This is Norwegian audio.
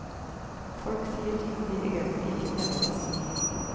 Folk sier ting de egentlig ikke mener å si.